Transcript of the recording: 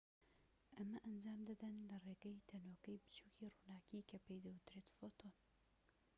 ئەمە ئەنجام دەدەن لە ڕێگەی تەنۆکەی بچووکی ڕووناكی کە پێی دەوترێت فۆتۆن